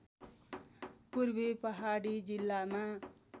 पूर्वी पहाडी जिल्लामा